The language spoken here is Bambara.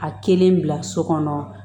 A kelen bila so kɔnɔ